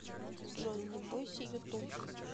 джой не бойся ютуб